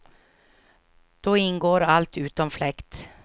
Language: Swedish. Då ingår allt, utom fläkt.